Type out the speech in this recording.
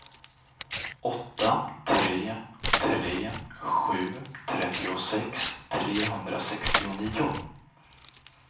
åtta tre tre sju trettiosex trehundrasextionio